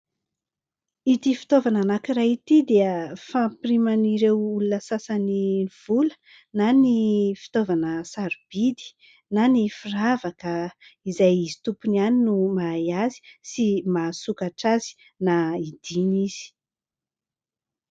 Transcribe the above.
Ity fitaovana iray ity dia fampiriman'ireo olona sasany vola na ny fitaovana sarobidy na ny firavaka izay izy tompony iany no mahay azy na maha sokatra azy na hidiana izy.